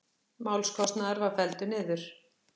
Málskostnaður var felldur niður